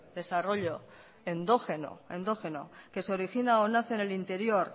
desarrollo endógeno endógeno que se origina o nace en el interior